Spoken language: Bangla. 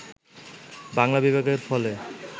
বাংলা বিভাগের ফলে